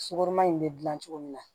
Sukoroma in be gilan cogo min na